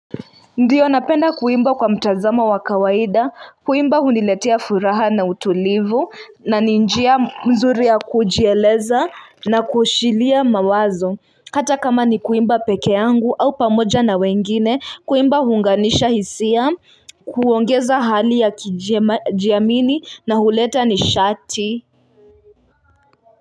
Ndiyo napenda kuimba kwa mtazamo wa kawaida kuimba huniletia furaha na utulivu na ni njia mzuri ya kujieleza na kushilia mawazo kata kama ni kuimba pekeangu au pamoja na wengine kuimba huunganisha hisia kuongeza hali ya kijiamini na huleta ni shati.